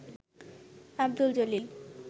Abdul Jalil